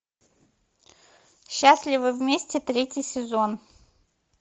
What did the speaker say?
счастливы вместе третий сезон